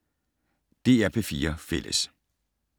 DR P4 Fælles